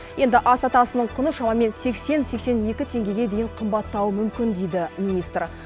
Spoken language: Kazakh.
енді ас атасының құны шамамен сексен сексен екі теңгеге дейін қымбаттауы мүмкін дейді министр